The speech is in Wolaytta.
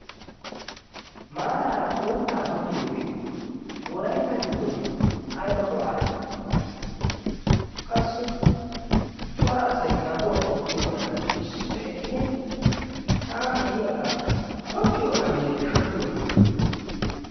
maaraara uuttaa tokkiyoogee wolaitta giddon aiba go7aa immi? qassi cora asai daguwaa oottiyoogaadan issippe eqqidi sa7an de7iyaagaa tokkiyoonaayye shoddiyoona?